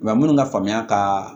Wa minnu ka faamuya ka